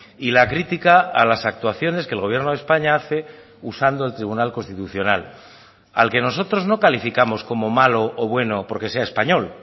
y la crítica a las actuaciones que el gobierno de españa hace usando el tribunal constitucional al que nosotros no calificamos como malo o bueno porque sea español